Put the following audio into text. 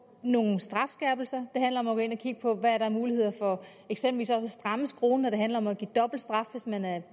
nogle strafskærpelser det handler om at gå ind og kigge på hvad der er af muligheder for eksempelvis også at stramme skruen når det handler om at give dobbelt straf hvis man er